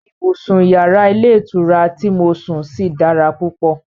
Ibùsùn yàrá ilé ìtura ti mo sùn sí dára púpọ̀